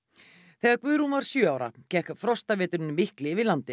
þegar Guðrún var sjö ára gekk frostaveturinn mikli yfir landið